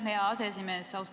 Aitäh, hea aseesimees!